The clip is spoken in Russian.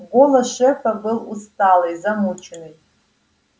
голос шефа был усталый замученный